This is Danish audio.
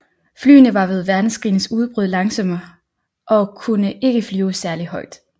Flyene var ved verdenskrigens udbrud langsomme og kunne ikke flyve særlig højt